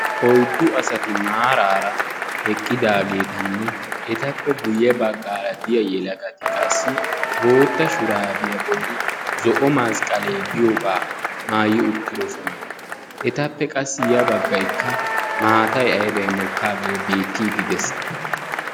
Oyddu asati maarara eqqiddaagetanne etappe guye baggaara diyaa yelagati qassi bootta shuraabiyaa bolli zo'o masqalee diyoogaa maayi uttidosona. etappe qassi ya baggayikka maatay aybay mokkaagee beettiidi de'ees.